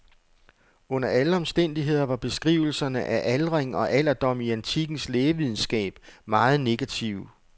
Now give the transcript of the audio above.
Under alle omstændigheder var beskrivelserne af aldring og alderdom i antikkens lægevidenskab meget negative.